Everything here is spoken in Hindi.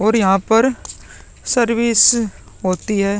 और यहाँ पर सर्विस होती है |